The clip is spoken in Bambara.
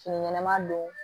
Fini ɲɛnaman don